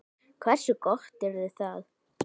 Hversu gott yrði það?